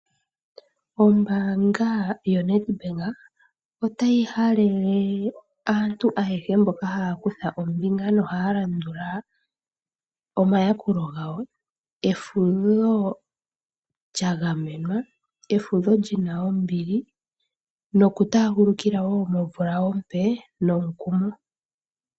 Ombaanga yoNedbank otayi halele aantu ayehe mboka haya kutha ombinga nohaya landula omayakulo gawo, efudho lya gamenwa, efudho lyina ombili. Noku taagulukila wo momvula ompe nomukumo.